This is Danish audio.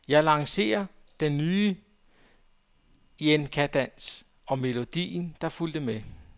Jeg lancerede den nye jenkadans og melodien, der fulgte med.